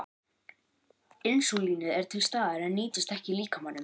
Insúlínið er til staðar en nýtist ekki líkamanum.